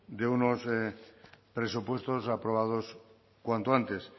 de unos presupuestos aprobados cuanto antes